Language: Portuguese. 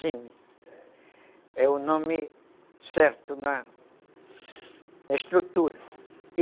é o nome certo na estrutura.